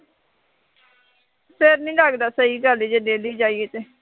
ਫੇਰ ਨਹੀਂ ਲੱਗਦਾ, ਸਹੀ ਗੱਲ ਹੈ, ਜੇ daily ਜਾਈਏ ਤੇ